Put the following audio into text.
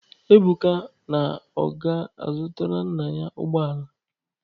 Ebuka na ọ ga-azụtara nna ya ụgbọ ala.